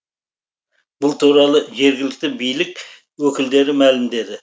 бұл туралы жергілікті билік өкілдері мәлімдеді